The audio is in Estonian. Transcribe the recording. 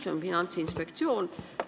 See keegi on Finantsinspektsioon.